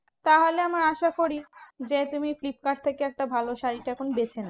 তাহলে আমার আশা করি যে, তুমি ফ্লিপকার্ড থেকে একটা ভালো শাড়ীটা এখন বেছে নাও।